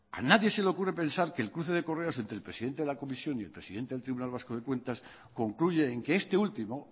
a nadie se le ocurre pensar que el cruce de correos entre el presidente de la comisión y el presidente del tribunal vasco de cuentas concluye en que este último